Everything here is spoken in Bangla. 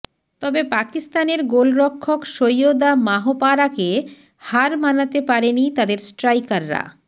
তবে পাকিস্তানের গোলরক্ষক সৈয়দা মাহপারাকে হার মানাতে পারেনি তাদের স্ট্রাইকারা